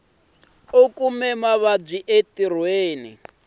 ni ku kuma vuvabyi entirhweni